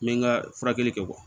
N bɛ n ka furakɛli kɛ